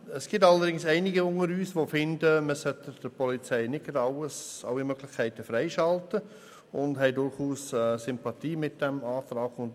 Es gibt allerdings einige unter uns, die der Ansicht sind, man solle der Polizei nicht gleich alle Möglichkeiten freischalten, und durchaus Sympathie für diesen Antrag haben.